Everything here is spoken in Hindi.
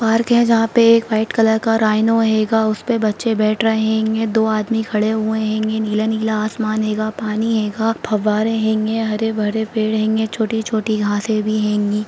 पार्क है जहाँ पे एक वाइट कलर का राइनो हेगा उस पे बच्चे बैठ रहे हेंगे दो आदमी खड़े हुए हेंगे नीला-नीला आसमान हेगा पानी हेगा फव्वारे हेंगे हरे-भरे पेड़ हेंगे छोटी-छोटी घासें भी हेंगी।